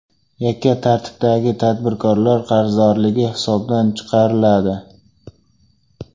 Yakka tartibdagi tadbirkorlar qarzdorligi hisobdan chiqariladi.